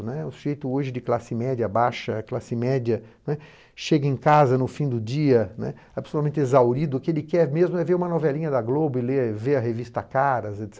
Né, o sujeito hoje de classe média baixa, classe média, né, chega em casa no fim do dia, né, absolutamente exaurido, o que ele quer mesmo é ver uma novelinha da Globo e ler, ver a revista Caras, etc.